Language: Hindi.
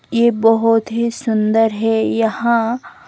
ये बहोत ही सुंदर है यहां--